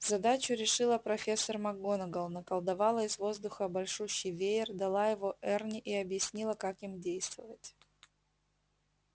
задачу решила профессор макгонагалл наколдовала из воздуха большущий веер дала его эрни и объяснила как им действовать